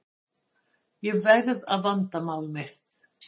Ég verð að vanda mál mitt.